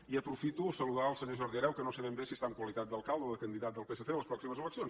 i aprofito per saludar el senyor jordi hereu que no sé ben bé si hi està en qualitat d’alcalde o de candidat del psc a les pròximes eleccions